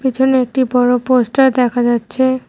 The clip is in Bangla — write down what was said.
পিছনে একটি বড়ো পোস্টার দেখা যাচ্ছে।